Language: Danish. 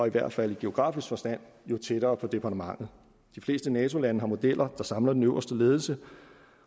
i hvert fald i geografisk forstand tættere på departementet de fleste nato lande har modeller der samler den øverste ledelse